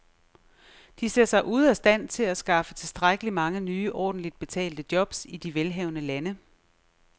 De ser sig ude af stand til at skaffe tilstrækkeligt mange nye ordentligt betalte jobs i de velhavende lande.